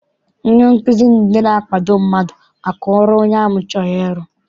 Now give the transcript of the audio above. Ndị nkụzi bụ ndị na-akwado mmadụ maka ọrụ onye ahụ chọrọ iru.